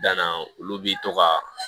Danna olu bi to ka